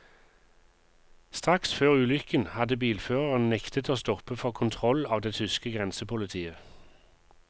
Straks før ulykken hadde bilføreren nektet å stoppe for kontroll av det tyske grensepolitiet.